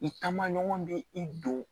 I taamaɲɔgɔn bɛ i don